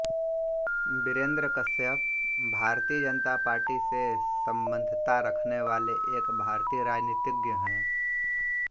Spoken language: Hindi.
वीरेंद्र कश्यप भारतीय जनता पार्टी से सम्बद्धता रखने वाले एक भारतीय राजनीतिज्ञ हैं